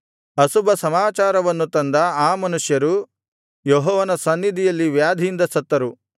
ಅಶುಭ ಸಮಾಚಾರವನ್ನು ತಂದ ಆ ಮನುಷ್ಯರು ಯೆಹೋವನ ಸನ್ನಿಧಿಯಲ್ಲಿ ವ್ಯಾಧಿಯಿಂದ ಸತ್ತರು